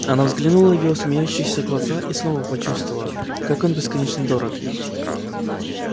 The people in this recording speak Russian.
она взглянула в его смеющиеся глаза и снова почувствовала как он бесконечно дорог ей